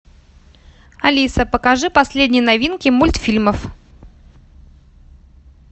алиса покажи последние новинки мультфильмов